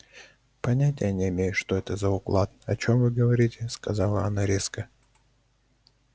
понятия не имею что это за уклад о чём вы говорите сказала она резко